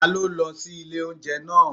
Ta ló lọ sí ilé óúnjẹ naa?